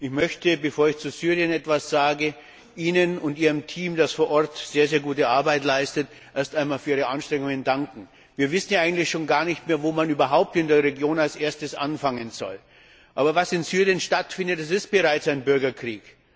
Ich möchte, bevor ich etwas zu Syrien sage, Ihnen und Ihrem Team, das vor Ort sehr gute Arbeit leistet, erst einmal für Ihre Anstrengungen danken. Wir wissen ja eigentlich schon gar nicht mehr, wo man überhaupt in der Region als Erstes anfangen soll. Was in Syrien stattfindet, das ist bereits ein Bürgerkrieg.